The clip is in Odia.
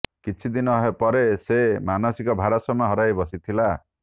କିଛି ଦିନ ପରେ ସେ ମାନସିକ ଭାରସାମ୍ୟ ହରାଇ ବସିଥିଲା